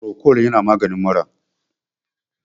Procold yana maganin mura